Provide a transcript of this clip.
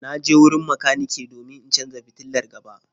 Na je wurin makaniki domin in canza fitilar gaba.